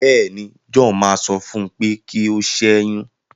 béèni, John má sọ fún u pé kí o ṣẹyun.